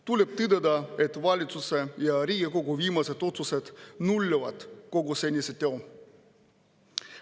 Tuleb tõdeda, et valitsuse ja Riigikogu viimased otsused nullivad kogu senise töö.